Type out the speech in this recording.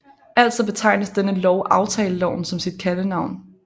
Altså betegnes denne lov aftaleloven som sit kaldenavn